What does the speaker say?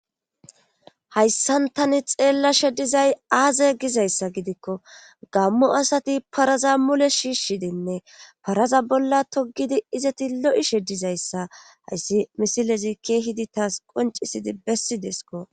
Hayssantani xeella shedizay aaze gizayssa gidikko gammu asati paraza mule shiishshidinne paraza bolla togidi izati lo7i sheddizayssa hayssi misilezi keehidi taas qoncisidi bessi desko